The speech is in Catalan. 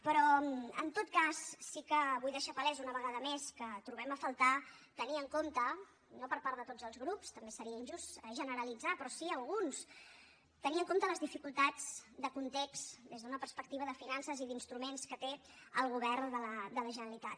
però en tot cas sí que vull deixar palès una vegada més que trobem a faltar tenir en compte no per part de tots els grups també seria injust generalitzar però sí d’alguns les dificultats de context des d’una perspectiva de finances i d’instruments que té el govern de la generalitat